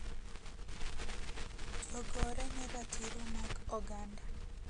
Jogore ne ratiro mag oganda